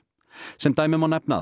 sem dæmi má nefna að